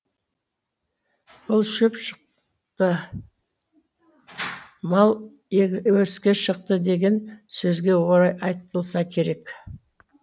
бұл шөп шықты мал өріске шықты деген сөзге орай айтылса керек